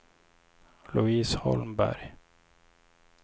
Louise Holmberg